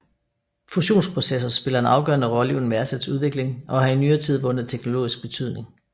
Fusionsprocesser spiller en afgørende rolle i Universets udvikling og har i nyere tid vundet teknologisk betydning